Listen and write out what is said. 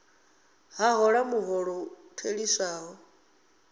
a hola muholo u theliswaho